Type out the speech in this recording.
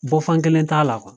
Bɔfan kelen t'a la